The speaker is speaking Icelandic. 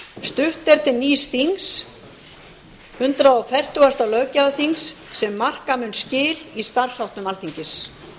stutt er til nýs þings hundrað fertugasta löggjafarþings sem mun marka skil í starfsháttum alþingis